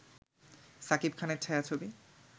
সাকিব খানের ছায়াছবি